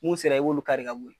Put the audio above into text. Mun sera , i b'olu kari ka bɔ yen .